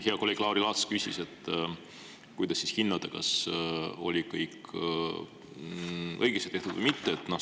Hea kolleeg Lauri Laats küsis, kuidas siis hinnata, kas kõik oli õigesti tehtud või mitte.